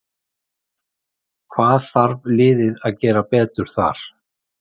Hvað þarf liðið að gera betur þar?